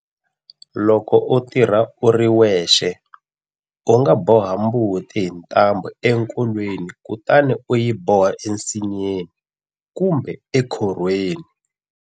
Loko u tirha u ri wexe, u nga boha mbuti hi ntambhu enkolweni kutani u yi boha ensinyeni kumbe ekhorhweni.